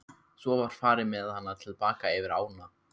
Svo var farið með hana til baka yfir ána.